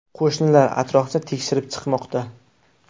Qo‘shinlar atrofni tekshirib chiqmoqda.